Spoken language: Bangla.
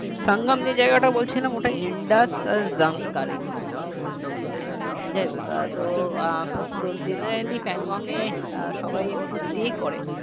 সংগম যেই জায়গাটা বলছিলাম ওটা Indus আর Zanskar এই দুটো নদী ছিল মিলন আচ্ছা যাই হোক তো আহ তো generallyPangong এ আহ সবাই একটু stay করে